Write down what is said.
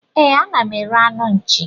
E, a na m ere anụ nchi.